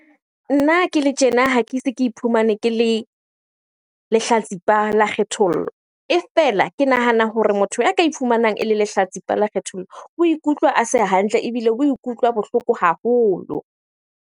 Nna ke le tjena ha ke se ke iphumane ke le lehlatsipa la kgethollo. E fela ke nahana hore motho ya ka e iphumanang ele lehlatsipa la kgethollo, o ikutlwa a se hantle ebile o ikutlwa bohloko haholo.